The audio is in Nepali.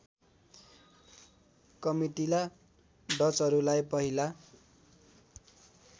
कमिटिला डचहरूलाई पहिला